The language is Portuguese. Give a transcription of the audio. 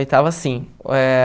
Oitava, sim. Eh